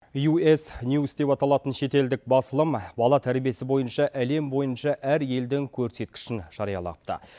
ю эс ньюс деп аталатын шетелдік басылым бала тәрбиесі бойынша әлем бойынша әр елдің көрсеткішін жариялапты